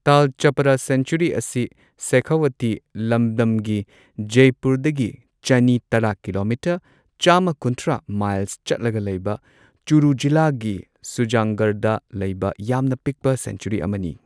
ꯇꯥꯜ Chhapar sanctuary ꯑꯁꯤ ꯁꯦꯈꯥꯋꯥꯇꯤ ꯂꯝꯗꯝꯒꯤ ꯖꯢꯄꯨꯔꯗꯒꯤ ꯆꯅꯤ ꯇꯔꯥ ꯀꯤꯂꯣꯃꯤꯇꯔ ꯆꯥꯝꯃ ꯀꯨꯟꯊ꯭ꯔꯥ ꯃꯥꯏꯜꯁ ꯆꯠꯂꯒ ꯂꯩꯕ ꯆꯨꯔꯨ ꯖꯤꯂꯥꯒꯤ ꯁꯨꯖꯟꯒꯔꯗꯥ ꯂꯩꯕ ꯌꯥꯝꯅ ꯄꯤꯛꯄ ꯁꯦꯡꯆꯨꯔꯤ ꯑꯃꯅꯤ꯫